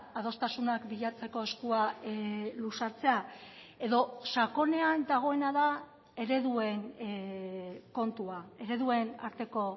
adostasunak bilatzeko eskua luzatzea edo sakonean dagoena da ereduen kontua ereduen arteko